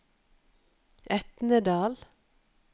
Etnedal